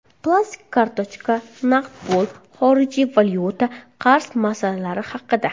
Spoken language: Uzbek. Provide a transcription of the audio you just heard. Plastik kartochka, naqd pul, xorijiy valyuta, qarz masalalari haqida.